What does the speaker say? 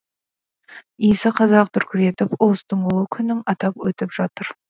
иісі қазақ дүркіретіп ұлыстың ұлы күнін атап өтіп жатыр